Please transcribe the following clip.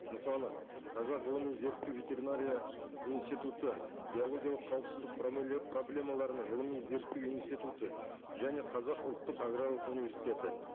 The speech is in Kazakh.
мысалы қазақ ғылыми зерттеу ветеринария институты биологиялық қауіпсіздік проблемаларының ғылыми зерттеу институты және қазақ ұлттық аграрлық университеті